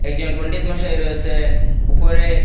একজন পন্ডিত মশায় রয়েছেন উপরে--